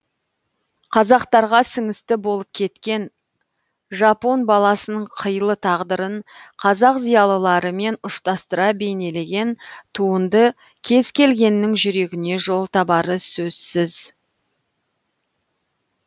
қазақтарға сіңісті болып кеткен жапон баласының қилы тағдырын қазақ зиялыларымен ұштастыра бейнелеген туынды кез келгеннің жүрегіне жол табары сөзсіз